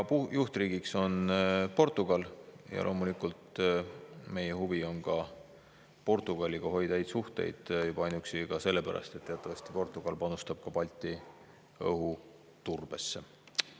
Juhtriigiks on Portugal ja loomulikult meie huvi on ka Portugaliga hoida häid suhteid, juba ainuüksi selle pärast, et teatavasti Portugal panustab Balti õhuturbesse.